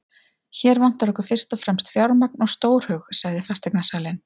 Hér vantar okkur fyrst og fremst fjármagn og stórhug, sagði fasteignasalinn.